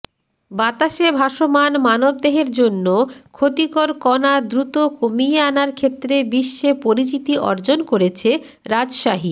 বাতাসে ভাসমান মানবদেহের জন্য ক্ষতিকর কণা দ্রুত কমিয়ে আনার ক্ষেত্রে বিশ্বে পরিচিতি অর্জন করেছে রাজশাহী